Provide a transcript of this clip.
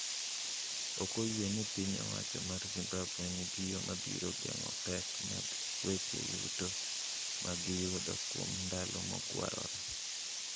Ok oyie ni piny owacho mar Zimbabwe nigi yo mabiro geng’o pek mag weche yuto ma giyudo kuom ndalo mogwarore.